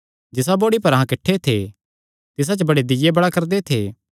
जिसा बोड़ी पर अहां किठ्ठे थे तिसा च बड़े दीय्ये बल़ा करदे थे